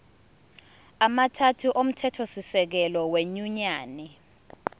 amathathu omthethosisekelo wenyunyane